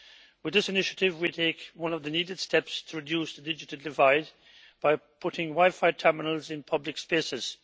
With this initiative, we take one of the needed steps to reduce the digital divide by putting wifi terminals in public spaces.